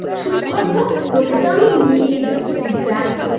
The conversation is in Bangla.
চুপ কর তো তোকে তো নিয়েই যাবো তুই যাই বলিস